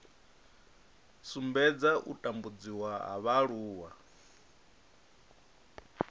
sumbedza u tambudziwa ha vhaaluwa